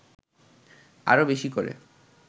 আরও বেশি করে